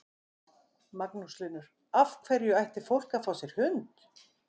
Magnús Hlynur: Af hverju ætti fólk að fá sér hund?